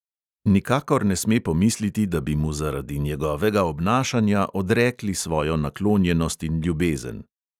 Nikakor ne sme pomisliti, da bi mu zaradi njegovega obnašanja odrekli svojo naklonjenost in ljubezen.